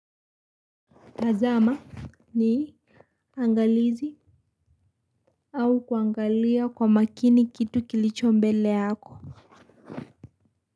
Azama nii angalizi au kuangalia kwa makini kitu kilicho mbele yako.